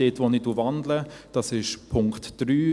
Doch ich wandle Punkt 3.